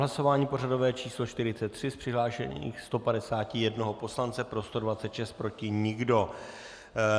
Hlasování pořadové číslo 43, z přihlášených 151 poslance pro 126, proti nikdo.